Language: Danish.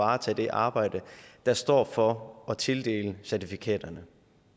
varetage det arbejde der står for at tildele certifikaterne